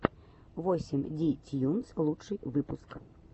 восемь ди тьюнс лучший выпуск